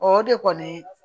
O de kɔni